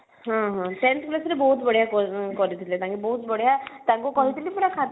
ହଁ ହଁ tenth class ରେ ବହୁତ ବଢିଆ କରିଥିଲେ ତାଙ୍କେ ବହୁତ ବଢିଆ ସବୁ